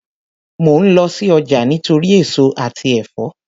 Mò ń lọ sí ọjà nítorí èso àti ẹ̀fọ́